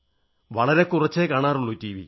വളരെ കുറച്ചേ കാണാറുളളൂ